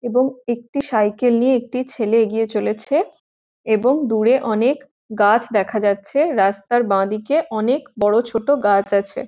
এবং একটি সাইকেল নিয়ে একটি ছেলে এগিয়ে চলেছে এবং দূরে অনেক গাছ দেখা যাচ্ছে রাস্তার বাঁদিকে অনেক বড়ো ছোট গাছ আছে ।